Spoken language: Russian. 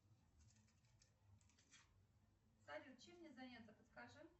салют чем мне заняться подскажи